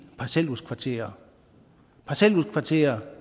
parcelhuskvarterer parcelhuskvarterer